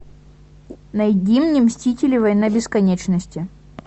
найди мне мстители война бесконечности